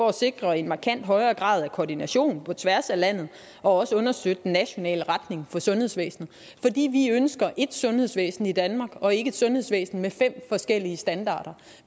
at sikre en markant højere grad af koordination på tværs af landet og også understøtte den nationale retning for sundhedsvæsenet fordi vi ønsker ét sundhedsvæsen i danmark og ikke et sundhedsvæsen med fem forskellige standarder